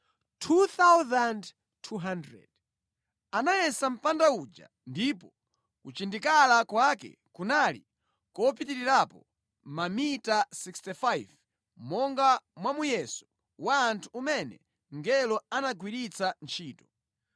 Anayesa mpanda uja ndipo kuchindikala kwake kunali kopitirirapo mamita 65 monga mwa muyeso wa anthu umene mngelo anagwiritsa ntchito.